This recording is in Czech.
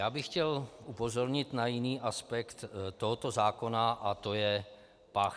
Já bych chtěl upozornit na jiný aspekt tohoto zákona, a to je pach.